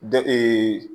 Dɔ